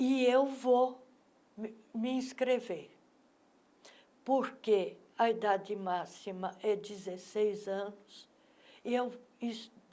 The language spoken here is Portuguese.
E eu vou me me inscrever, porque a idade máxima é dezeseis anos. e eu vou